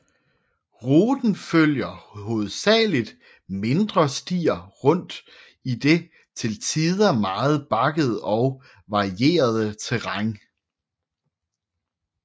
Ruten følger hovedsageligt mindre stier rundt i det til tider meget bakkede og varierede terræn